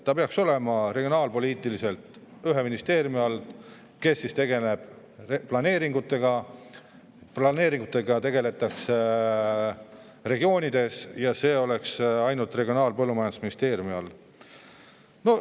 Maa peaks olema regionaalpoliitiliselt ühe ministeeriumi all, mis tegeleb planeeringutega – planeeringutega tegeletakse regioonides –, ja see oleks Regionaal- ja Põllumajandusministeerium.